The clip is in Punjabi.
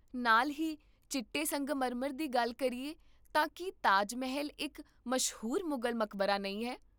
ਨਾਲ ਹੀ, ਚਿੱਟੇ ਸੰਗਮਰਮਰ ਦੀ ਗੱਲ ਕਰੀਏ ਤਾਂ ਕੀ ਤਾਜ ਮਹਿਲ ਇੱਕ ਮਸ਼ਹੂਰ ਮੁਗਲ ਮਕਬਰਾ ਨਹੀਂ ਹੈ?